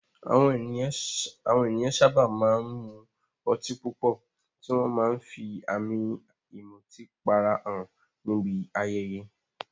Àwọn ènìyàn sábà máa ń mu ọtí púpọ̀, tí wọ́n máa ń fi àmì ìmutípara hàn níbi ayẹyẹ.